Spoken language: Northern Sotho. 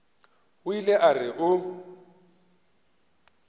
o ile a re o